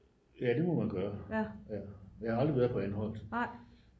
ja det må man gøre jeg har aldrig været på anholt